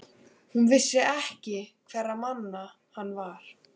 Hún vissi ekki hverra manna hann var.